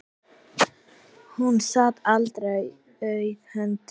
Hún sat aldrei auðum höndum.